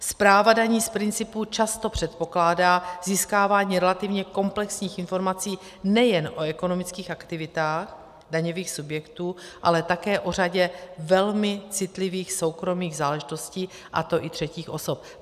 Správa daní z principu často předpokládá získávání relativně komplexních informací nejen o ekonomických aktivitách daňových subjektů, ale také o řadě velmi citlivých soukromých záležitostí, a to i třetích osob.